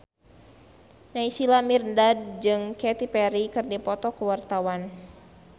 Naysila Mirdad jeung Katy Perry keur dipoto ku wartawan